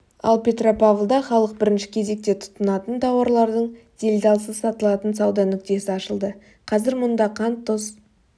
ал петропавлда халық бірінші кезекте тұтынатын тауарлардың делдалсыз сатылатын сауда нүктесі ашылды қазір мұнда қант тұз